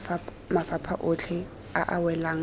mafapha otlhe a a welang